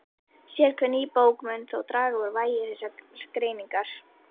Sérhver ný bók mun þó draga úr vægi þessarar greiningar.